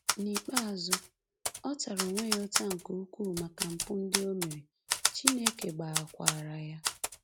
N’ikpeazụ, ọ tara onwe ya ụta nke ukwuu maka mpụ ndị o mere, Chineke gbaghakwaara ya.